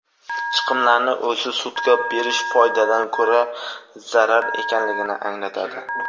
chiqimlarning o‘zi sudga berish foydadan ko‘ra zarar ekanligini anglatadi.